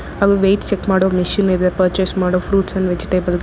ಹಾಗೂ weight check ಮಾಡೋ machine ಇದೆ ಪರ್ಚೇಸ್ ಮಾಡೋ ಫ್ರೂಟ್ಸ್ ಅಂಡ್ ವೆಜಿಟೇಬಲ್ .